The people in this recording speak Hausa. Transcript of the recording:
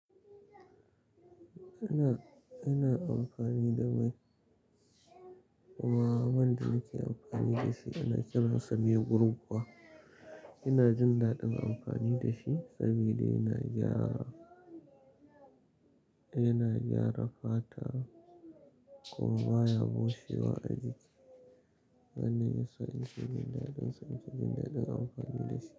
Ina, ina amfani da mai kuma wanda nake amfani da shi ana kiran sa mai gurguwa. Ina jin daɗin amfani da shi sabida yana gyara, yana gyara fata kuma baya bushe wa ajiki. Nanne yasa inke jin dadinsa nafi jindadin amfani da shi.